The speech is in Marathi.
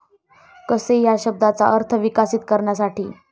कसे ह्या शब्दाचा अर्थ विकसित करण्यासाठी?